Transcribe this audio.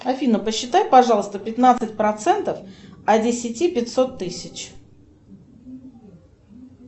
афина посчитай пожалуйста пятнадцать процентов от десяти пятьсот тысяч